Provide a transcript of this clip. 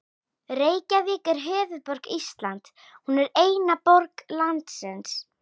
Reykjavík er höfuðborg Íslands. Hún er eina borg landsins.